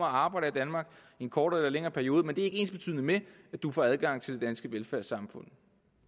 arbejde i danmark i en kortere eller længere periode men det er ikke ensbetydende med at du får adgang til det danske velfærdssamfund